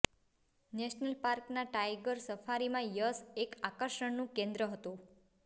national પાર્કના tiger સફારીમાં યશ એક આકર્ષણનું કેન્દ્ર હતો